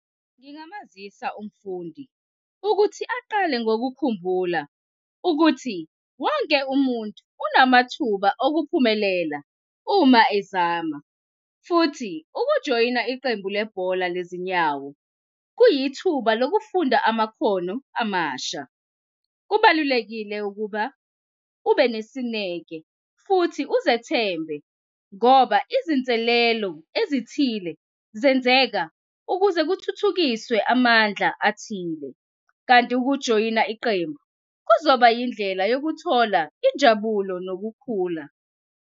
Ngingamazisa umfundi ukuthi aqale ngokukhumbula ukuthi wonke umuntu unamathuba okuphumelela uma ezama futhi ukujoyina iqembu lebhola lezinyawo kuyithuba lokufunda amakhono amasha. Kubalulekile ukuba ube nesineke futhi uzethembe ngoba izinselelo ezithile zenzeka ukuze kuthuthukiswe amandla athile. Kanti ukujoyina iqembu kuzoba yindlela yokuthola injabulo nokukhula.